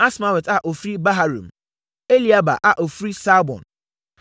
Asmawet a ɔfiri Baharum; Eliahba a ɔfiri Saalbon.